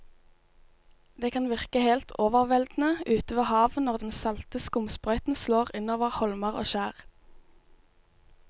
Det kan virke helt overveldende ute ved havet når den salte skumsprøyten slår innover holmer og skjær.